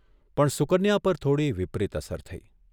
પણ સુકન્યા પર થોડી વિપરીત અસર થઇ.